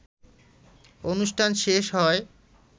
অনুষ্ঠান শেষ হয়